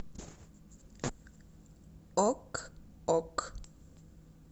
ок ок